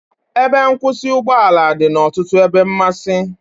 Ebe nkwụsị ụgbọ ala dị n'ọtụtụ ebe mmasị